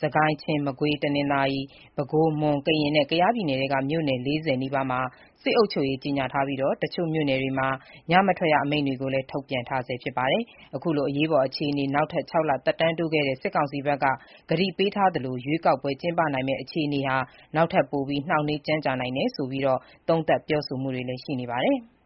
စစ်ကိုင်း၊ ချင်း၊ မကွေး၊ တနင်္သာရီ၊ပဲခူး၊မွန်၊ ကရင်နဲ့ ကယားပြည်နယ်ထဲက မြို့နယ် ၄၀ နီးပါးမှာ စစ်အုပ်ချုပ်ရေး ကြေညာထားပြီး တချို့မြို့နယ်တွေမှာ ညမထွက်ရအမိန့်တွေ ထုတ်ပြန်ထားဆဲဖြစ်ပါတယ်။ အခုလို အရေးပေါ် အခြေအနေ နောက်ထပ် ၆ လ သက်တမ်းတိုးခဲ့တဲ့ စစ်ကောင်စီဘက်က ကတိပေးထားသလို ရွေးကောက်ပွဲ ကျင်းပနိုင်မဲ့ အခြေအနေ နောက်ထပ်ပိုပြီး နှောင့်နှေးကြန့်ကြာနိုင်တယ်ဆိုပြီး သုံးသပ် ပြောဆိုမှုတွေလည်း ရှိနေပါတယ်။